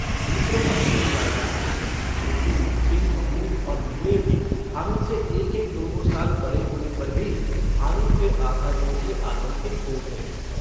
दूसरे पक्ष से जा मिला लेकिन मोहसिन महमूद और नूरे भी हामिद से एकएक दोदो साल बड़े होने पर भी हामिद के आघातों से आतंकित हो उठे हैं।